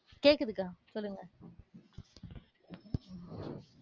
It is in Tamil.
கேக்குதுக்கா, சொல்லுங்க.